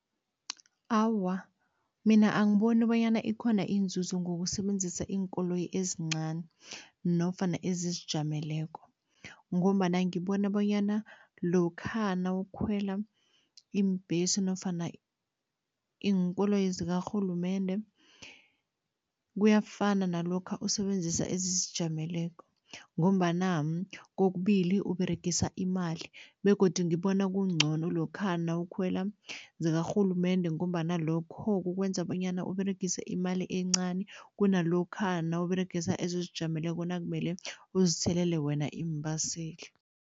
Awa, mina angiboni bonyana ikhona inzuzo ngokusebenzisa iinkoloyi ezincani nofana ezizijameleko ngombana ngibona bonyana lokha nawukhwela iimbhesi nofana iinkoloyi zakarhulumende, kuyafana nalokha usebenzisa ezizijameleko ngombana kokubili uberegisa imali begodu ngibona kungcono lokha nawukhwela zakarhulumende ngombana lokho kukwenza bonyana uberegise imali encani kunalokha nawuberegisa ezizijameleko nakumele uzithelele wena iimbaseli.